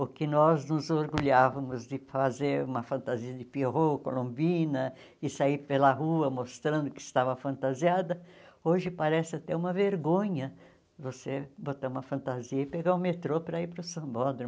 O que nós nos orgulhávamos de fazer uma fantasia de pierrot, colombina, e sair pela rua mostrando que estava fantasiada, hoje parece até uma vergonha você botar uma fantasia e pegar o metrô para ir para o sambódromo.